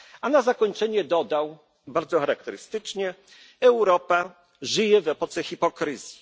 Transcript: cytatu. A na zakończenie dodał, bardzo charakterystycznie Europa żyje w epoce hipokryzji.